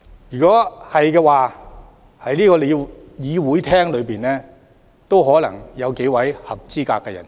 若然如此，在這個會議廳內也可能有數位合資格人士。